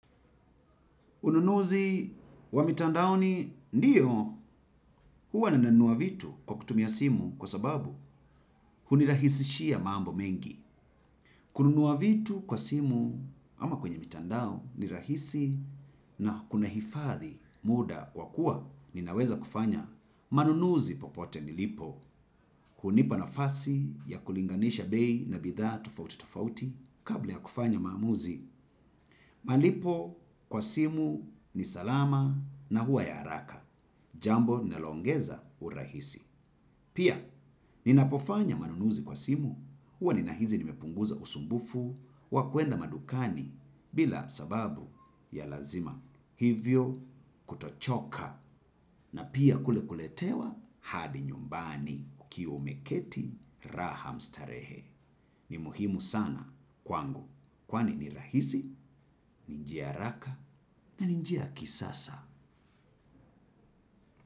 Ununuzi wa mitandao ni ndiyo huwa ninanunua vitu kwa kutumia simu kwa sababu hunirahisishia mambo mengi. Kununua vitu kwa simu ama kwenye mitandao ni rahisi na kuna hifadhi muda kwa kuwa ninaweza kufanya. Manunuzi popote nilipo hunipa na fasi ya kulinganisha bei na bidhaa tofauti tofauti kabla ya kufanya maamuzi. Malipo kwa simu ni salama na huwa ya haraka. Jamboli naloongeza urahisi. Pia, nina pofanya manunuzi kwa simu, huwa nina hisi nimepunguza usumbufu, wakwenda madukani bila sababu ya lazima. Hivyo kutochoka na pia kulekuletewa hadi nyumbani. Ukiwa umeketi raham starehe. Ni muhimu sana kwangu. Kwani ni rahisi, ninjiaha raka na ninjia kisasa.